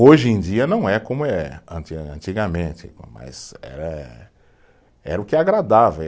Hoje em dia não é como é, antigamente, mas era, era o que agradava.